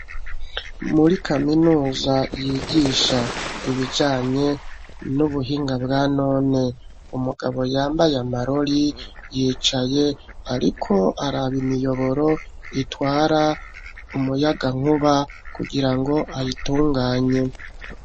Muri kaminuza yigisha ibijanye n'ubuhinga bwanone. Umugabo yambaye amarori yicaye ariko araba imiyoboro itwara umuyagankuba kugirango ayitunganye.